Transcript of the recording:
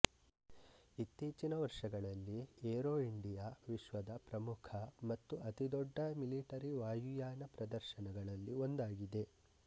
ಇತ್ತೀಚಿನ ವರ್ಷಗಳಲ್ಲಿ Aero India ವಿಶ್ವದ ಪ್ರಮುಖ ಮತ್ತು ಅತಿದೊಡ್ಡ ಮಿಲಿಟರಿ ವಾಯುಯಾನ ಪ್ರದರ್ಶನಗಳಲ್ಲಿ ಒಂದಾಗಿದೆ